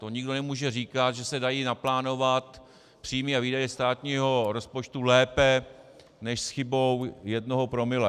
To nikdo nemůže říkat, že se dají naplánovat příjmy a výdaje státního rozpočtu lépe než s chybou jednoho promile.